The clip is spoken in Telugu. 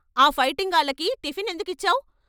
ఆ ఫైటింగాళ్ళకి టిఫిన్ ఎందుకిచ్చావ్?